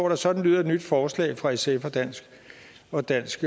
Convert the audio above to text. at sådan lyder et nyt forslag fra sf og dansk og dansk